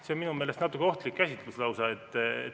See on minu meelest lausa natuke ohtlik käsitlus.